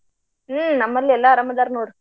ಹ್ಮ ನಮ್ಮಲ್ಲೂ ಎಲ್ಲ ಅರಾಮ ಅದಾರ ನೋಡ.